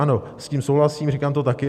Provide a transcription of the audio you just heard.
Ano, s tím souhlasím, říkám to také.